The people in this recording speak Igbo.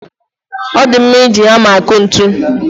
O di mma iji hama akụ ntu